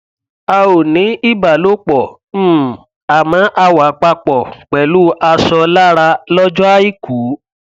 a ò ní ìbálòpọ um àmọ a wà papọ pẹlú aṣọ lára lọjọ àìkú